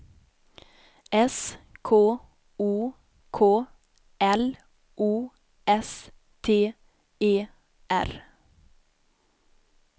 S K O K L O S T E R